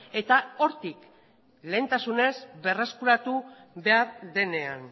eta hortik lehentasunez berreskuratu behar denean